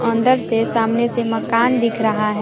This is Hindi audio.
अंदर से सामने से मकान दिख रहा है।